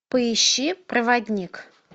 поищи проводник